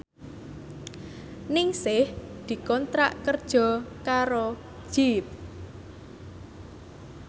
Ningsih dikontrak kerja karo Jeep